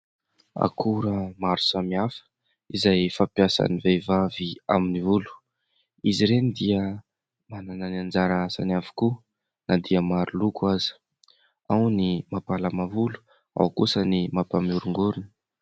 Akora maro samihafa izay fampiasan'ny vehivavy amin'ny volo. Izy ireny dia manana ny anjara asany avokoa na dia maro loko aza : ao ny mampalama volo, ao kosa ny mampanoringorina.